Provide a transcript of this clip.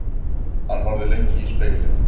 Hann horfði lengi í spegilinn.